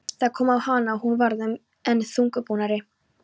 Það kom á hana og hún varð enn þungbúnari.